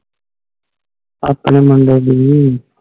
ਆਪਣੇ ਮੁੰਡੇ ਦੀ